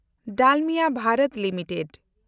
ᱰᱟᱞᱢᱤᱭᱟ ᱵᱷᱮᱱᱰᱚᱛ ᱞᱤᱢᱤᱴᱮᱰ